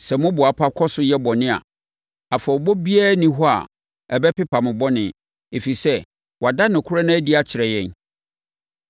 Sɛ moboapa kɔ so yɛ bɔne a, afɔrebɔ biara nni hɔ a ɛbɛpepa mo bɔne, ɛfiri sɛ, wɔada nokorɛ no adi akyerɛ yɛn.